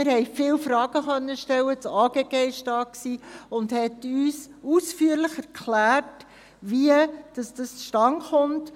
Wir konnten viele Fragen stellen, das AGG war da und erklärte uns ausführlich, wie dies zustande kommt.